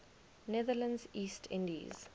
netherlands east indies